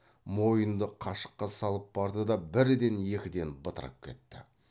мойынды қашыққа салып барды да бірден екіден бытырап кетті